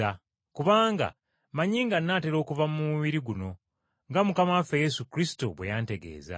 Kubanga mmanyi nga nnaatera okuva mu mubiri guno, nga Mukama waffe Yesu Kristo bwe yantegeeza.